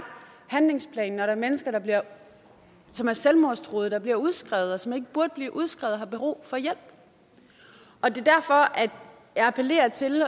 handlingsplan når der er mennesker som er selvmordstruede der bliver udskrevet og som ikke burde blive udskrevet har brug for hjælp og det er derfor at jeg appellerer til